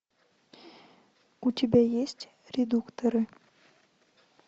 у тебя есть редукторы